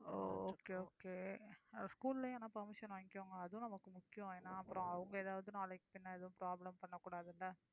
ஓ okay okayschool லயும் ஆனா permission வாங்கிக்கோங்க அதுவும் நமக்கு முக்கியம் ஏன்னா அப்புறம் அவங்க ஏதாவது நாளைக்கு பின்ன எதுவும் problem பண்ணக்கூடாதில்ல.